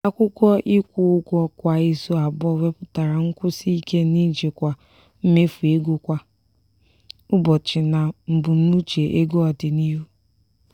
akwụkwọ ịkwụ ụgwọ kwa izu abụọ wepụtara nkwụsị ike n'ijikwa mmefu ego kwa ụbọchị na mbunuche ego ọdịnihu.